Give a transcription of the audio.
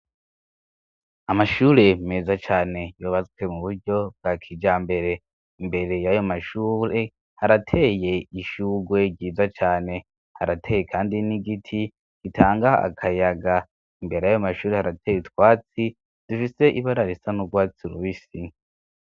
Amashure meza cane yobazwe mu buryo bwa kija mbere imbere y'ayo mashure harateye ishugwe ryiza cane harateye, kandi nigiti gitangaho akayaga imbere yayo mashure harateye itwatsi dushitse ibararo isa n'urwatsi urubisi.